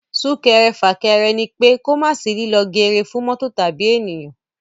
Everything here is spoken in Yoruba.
Sún-kẹrẹ-fà-kẹrẹ ní pé kò mà sí líló geere fún mọ́tò tàbí èèyan.